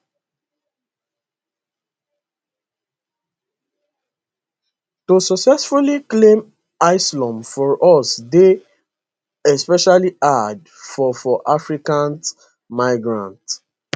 to successfully claim asylum for us dey especially hard for for african migrants